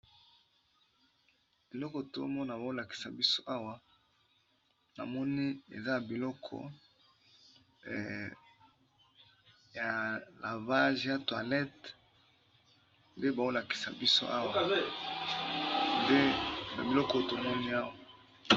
Eloko tomona baolakisa biso awa na moni eza ya biloko ya lavage ya toilette, nde baolakisa biso awa, nde ba biloko tomoni awa.